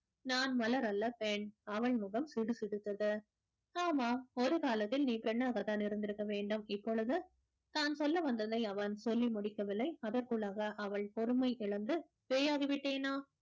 நான் மலரல்ல பெண் அவன் முகம் சுடுசுடுத்தது ஆமா ஒரு காலத்தில் நீ பெண்ணாகத்தான் இருந்திருக்க வேண்டும் இப்பொழுது தான் சொல்ல வந்ததை அவன் சொல்லி முடிக்கவில்லை அதற்குள்ளாக அவள் பொறுமை இழந்து பேயாகி விட்டேனா